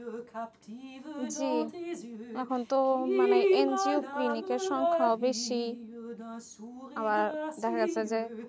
জি এখন তো মানে NGOclinic এর সংখ্যাও বেশি আবার দেখা যাচ্ছে যে